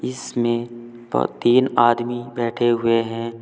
इसमें ब तीन आदमी बैठे हुए हैं।